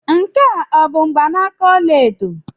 Nke a ọ bụ mgbanaka ọla edo?